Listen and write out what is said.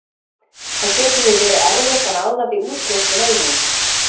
Það getur því verið erfitt að ráða við útbreiðslu veirunnar.